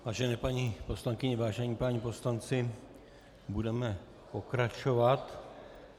Vážené paní poslankyně, vážení páni poslanci, budeme pokračovat.